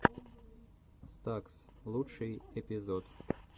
стакс лучший эпизод